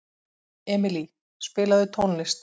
Emilý, spilaðu tónlist.